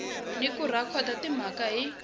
ni ku rhekhoda timhaka hi